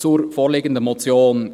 Zur vorliegenden Motion: